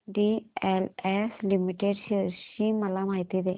DLF limited shares ची माहिती दे